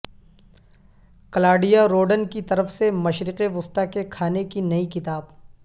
Claudia Roden کی طرف سے مشرق وسطی کے کھانے کی نئی کتاب